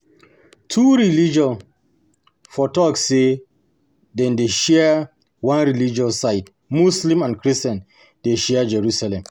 Two religion for talk sey dem dey share one religious site, Muslims and Christians dey share Jerusalem